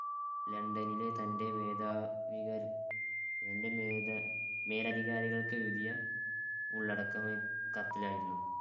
ലണ്ടനിലെ തൻ്റെ മേധാവികള്‍~ മേലധികാ~മേലധികാരികൾക്ക് എഴുതിയ ഉള്ളടക്കം കത്തിലായിരുന്നു.